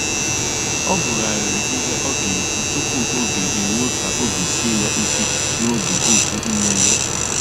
Ọ gụ̀ghàrị̀rị́ ihe ọ ga-èkwú tupu ógè èrùó kà óbì síè ya ìké n'ógè okwu mmèghé.